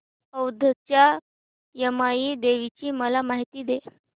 औंधच्या यमाई देवीची मला माहिती दे